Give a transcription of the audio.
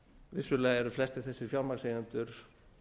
vissulega eru flestir þessir fjármagnseigendur